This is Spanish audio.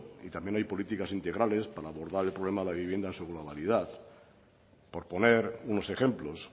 y también hay políticas integrales para abordar el problema de la vivienda en su globalidad por poner unos ejemplos